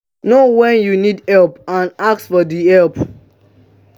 know when you need help and ask for di help